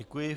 Děkuji.